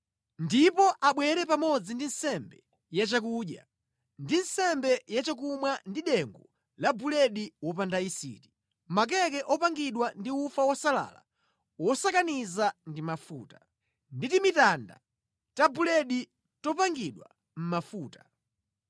ndipo abwere pamodzi ndi nsembe yachakudya ndi nsembe yachakumwa ndi dengu la buledi wopanda yisiti, makeke opangidwa ndi ufa wosalala wosakaniza ndi mafuta, ndi timitanda ta buledi topakidwa mafuta.